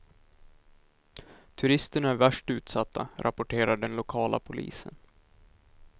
Turisterna är värst utsatta, rapporterar den lokala polisen.